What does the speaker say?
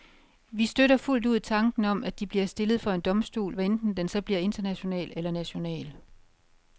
Vi støtter fuldt ud tanken om, at de bliver stillet for en domstol, hvad enten den så bliver international eller national.